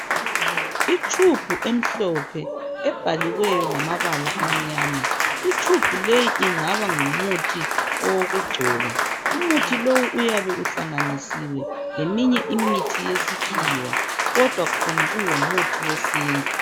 Itshubhu emhlophe ebhaliweyo ngamabala amnyama itshubhu leyi ingaba ngumuthi owokugcoba umuthi lowu uyabe uhlanganisiwe leminye imithi yasikhiwa kodwa khona kungu muthi wesintu